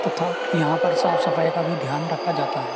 तथा यहां पर साफ सफाई का भी ध्यान रखा जाता है।